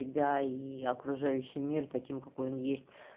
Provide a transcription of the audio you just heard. тебя и окружающий мир таким какой он есть